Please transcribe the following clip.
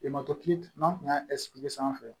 n'an tun y'a sanfɛ